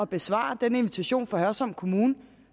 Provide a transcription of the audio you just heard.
besvare den invitation fra hørsholm kommune